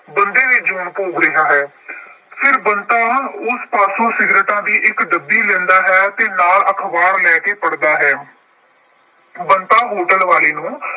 ਬੰਦੇ ਦੀ ਜੂਨ ਭੋਗ ਰਿਹਾ ਹੈ। ਫਿਰ ਬੰਤਾ ਉਸ ਪਾਸੋਂ ਇੱਕ ਸਿਗਰਟਾਂ ਦੀ ਇੱਕ ਡੱਬੀ ਲੈਂਦਾ ਹੈ ਅਤੇ ਨਾਲ ਅਖਬਾਰ ਲੈ ਕੇ ਪੜ੍ਹਦਾ ਹੈ। ਬੰਤਾ ਹੋਟਲ ਵਾਲੇ ਨੂੰ